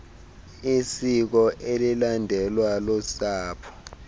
isiko elilandelwa lusapho